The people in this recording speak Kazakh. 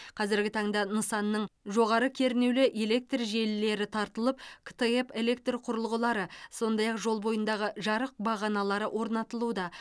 қазіргі таңда нысанның жоғары кернеулі электр желілері тартылып ктп электр құрылғылары сондай ақ жол бойындағы жарық бағаналары орнатылуда